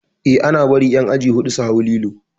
Eh ana bari ƴan aji huɗu su hau lilo